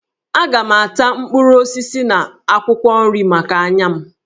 Aga m ata mkpụrụ osisi na akwụkwọ nri maka anya m